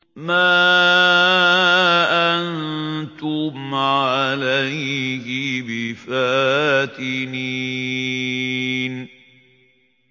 مَا أَنتُمْ عَلَيْهِ بِفَاتِنِينَ